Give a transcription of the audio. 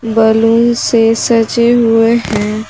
Balloon से सजे हुए है।